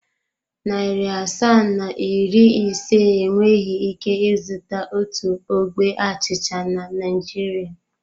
Narị asaa na iri ise enweghị ike ịzụta otu ogbe achịcha na Naịjirịa.